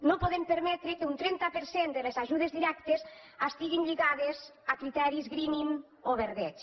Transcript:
no podem permetre que un trenta per cent de les ajudes directes estiguin lligades a criteris greening o verdeig